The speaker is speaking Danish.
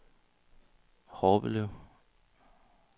Horbelev